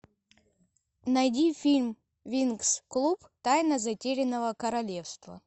найди фильм винкс клуб тайна затерянного королевства